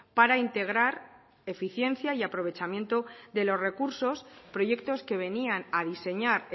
para integrar eficiencia y aprovechamiento de los recursos proyectos que venían a diseñar